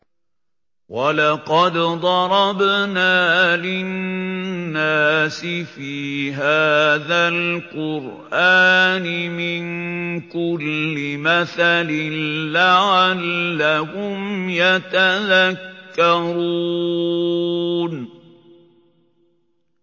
وَلَقَدْ ضَرَبْنَا لِلنَّاسِ فِي هَٰذَا الْقُرْآنِ مِن كُلِّ مَثَلٍ لَّعَلَّهُمْ يَتَذَكَّرُونَ